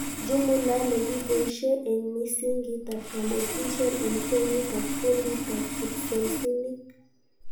Jumula nekiboishe eng misingitab kanetishet eng kenyit ak kunditab kipsomsnink